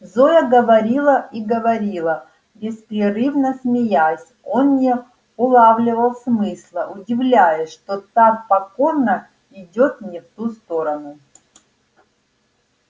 зоя говорила и говорила беспрерывно смеясь он не улавливал смысла удивляясь что так покорно идёт не в ту сторону